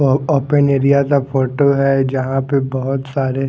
और open area का photo है जहां पे बहुत सारे--